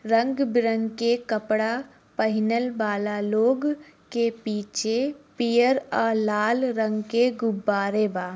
रंग बीरंग के कपड़ा पहनल वाला लोग के पीछे पियर औ लाल रंग के गुब्बारे बा।